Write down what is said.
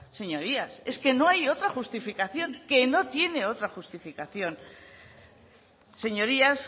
señorías es que no hay otra justificación que no tiene otra justificación señorías